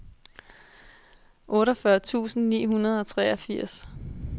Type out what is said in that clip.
otteogfyrre tusind ni hundrede og treogfirs